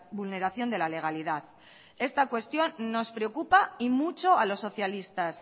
vulneración de la legalidad esta cuestión nos preocupa y mucho a los socialistas